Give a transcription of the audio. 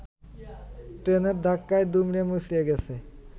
ট্রেনের ধাক্কায় দুমড়েমুচড়ে গেছে